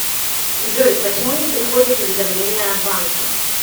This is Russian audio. джой почему не приходят уведомления от банка